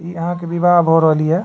इ अहां के विवाह भ रहल ये।